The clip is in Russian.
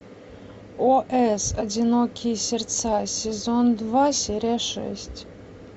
ос одинокие сердца сезон два серия шесть